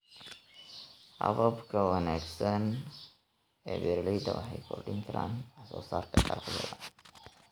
Hababka wanaagsan ee beeraleyda waxay kordhin karaan waxsoosaarka dalagyada.